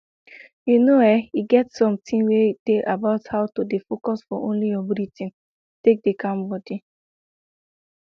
you know[um]e get something wey dey about how to dey focus for only your breathing take deh calm body